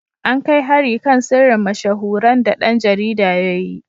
An kai hari kan sirrin mashahuran da ɗan jarida ya yi.